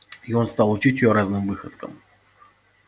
и он стал учить её разным выходкам